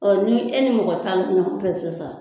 ni e ni mɔgɔ tan mi ɲɔgɔn fɛ sisan.